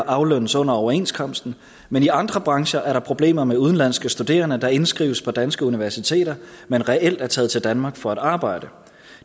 aflønnes under overenskomsten men i andre brancher er der problemer med udenlandske studerende der indskrives på danske universiteter men reelt er taget til danmark for at arbejde